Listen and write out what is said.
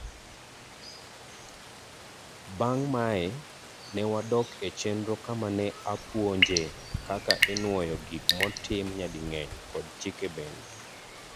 Bang' mae, newadok e chenro kama ne apuonjee kaka inuoyo gik motim nyading'eny kod chike bende.